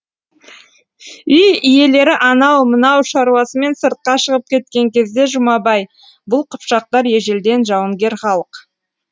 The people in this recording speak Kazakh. үй иелері анау мынау шаруасымен сыртқа шығып кеткен кезде жұмабай бұл қыпшақтар ежелден жауынгер халық